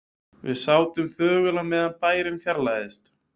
Við sátum þögul á meðan bærinn fjarlægðist.